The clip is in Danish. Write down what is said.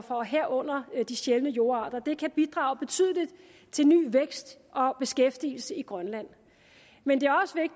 og herunder de sjældne jordarter kan bidrage betydeligt til ny vækst og beskæftigelse i grønland men